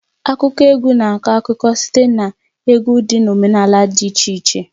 Akụkọ egwu na-akọ akụkọ site na egwu dị na omenala dị iche iche.